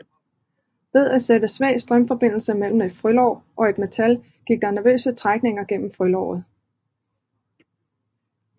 Ved at at sætte svag strømforbindelse mellem et frølår og et metal gik der nervøse trækninger gennem frølåret